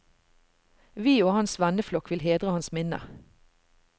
Vi og hans venneflokk vil hedre hans minne.